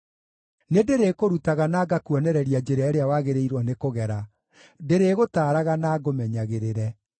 Nĩndĩrĩkũrutaga na ngakuonereria njĩra ĩrĩa wagĩrĩirwo nĩ kũgera; ndĩrĩgũtaaraga na ngũmenyagĩrĩre.